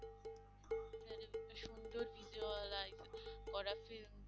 সুন্দর visual করা film